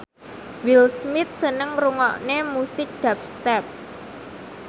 Will Smith seneng ngrungokne musik dubstep